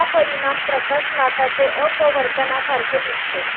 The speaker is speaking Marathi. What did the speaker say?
हा परिणाम प्रकाश लाटाचे अपवर्तनासारखे दिसते.